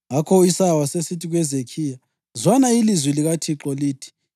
Ngakho u-Isaya wasesithi kuHezekhiya, “Zwana ilizwi likaThixo lithi: